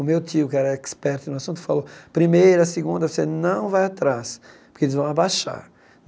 O meu tio, que era expert no assunto, falou, primeira, segunda, você não vai atrás, porque eles vão abaixar.